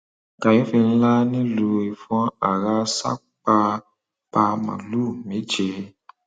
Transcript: kàyééfì ńlá nílùú ìfọn ará ṣàn pa pa màálùú méje